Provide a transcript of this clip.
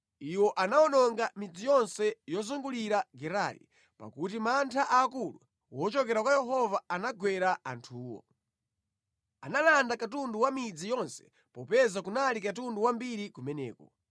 Iwo anawononga midzi yonse yozungulira Gerari pakuti mantha aakulu wochokera kwa Yehova anagwera anthuwo. Analanda katundu wa midzi yonse, popeza kunali katundu wambiri kumeneko.